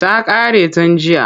Ta ƙare tun jiya.